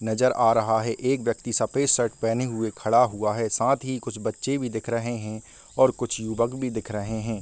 नजर आ रहा है। एक व्यक्ति सफ़ेद शर्ट पहेने हुए खड़ा हुआ है। साथ ही कुछ बच्चे भी दिख रहे हैं और कुछ युवक भी दिख रहे हैं ।